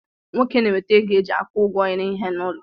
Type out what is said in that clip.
Nwoke na-enweta ego e ji akwụ ụgwọ ihe n'ulo